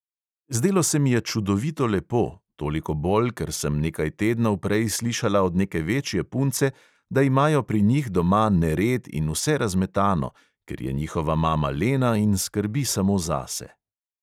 Zdelo se mi je čudovito lepo, toliko bolj, ker sem nekaj tednov prej slišala od neke večje punce, da imajo pri njih doma nered in vse razmetano, ker je njihova mama lena in skrbi samo zase.